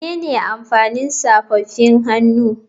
Menene amfanin safofin hannu?